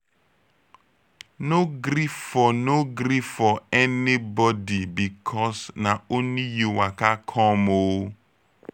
no gree for no gree for anybodi bikos na only yu waka com o